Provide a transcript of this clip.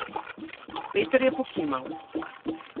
Peter je pokimal.